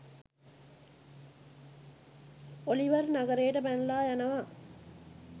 Oliver නගරයට පැනලා යනවා